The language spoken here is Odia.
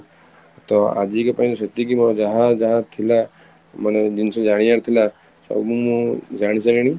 ତ ଆଜି କ ପାଇଁ ସେତିକି ମୋର ଯାହା ଯାହା ଥିଲା ମାନେ ଜିନିଷ ଜାଣିବାର ଥିଲା ସବୁ ମୁଁ ଜାଣିସାରିଲିଣି